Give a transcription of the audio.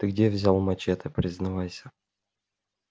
ты где взял мачете признавайся